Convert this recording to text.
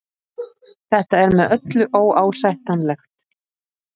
Þetta er með öllu óásættanlegt